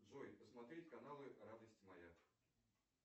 джой посмотреть каналы радость моя